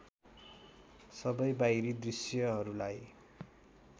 सबै बाहिरी दृश्यहरूलाई